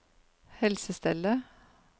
helsestellet